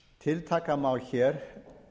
tiltaka má hér